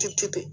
Tubi